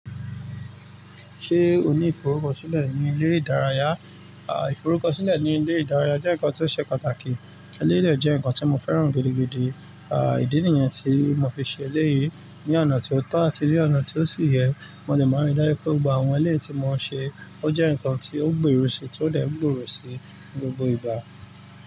Ṣé o ní ìforúkọ sílẹ̀ ní ilé ìdárayá? À, ìforúkọ sílẹ̀ ní ilé ìdárayá jẹ́ nǹkan tó ṣe pàtàkì. Eléyi dé jẹ́ ǹkan tí mo fẹ́ràn gidigidi. À, ìdí nìyẹn tí mo fi ṣe eléyi ní ọ̀nà tí ó tọ́ àti ní ọ̀nà tí ó sì yẹ. Mo lè máa rí dájú pé gbogbo àwọn ẹlẹ́yìí tí mo ń ṣe ó jẹ́ ǹkan tí ó ń gbe ròsì tí ó dè ń gbòòrò sí ní gbogbo ìgbà.